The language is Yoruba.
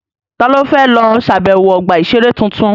Ta ló fẹ́ lọ ṣàbẹ̀wọ̀ ọgbà-ìṣeré tuntun?